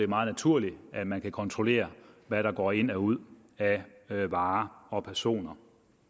meget naturligt at man kan kontrollere hvad der går ind og ud af varer og personer